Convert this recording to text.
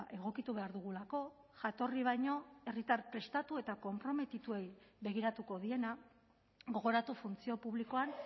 egokitu behar dugulako jatorri baino herritar prestatu eta konprometituei begiratuko diena gogoratu funtzio publikoan